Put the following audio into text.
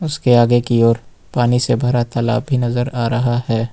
उसके आगे की ओर पानी से भरा तालाब भी नजर आ रहा है।